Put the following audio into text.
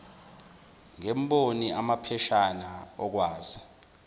ngemboni amapheshana okwazisa